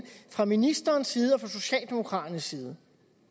fra ministerens side og fra socialdemokraternes side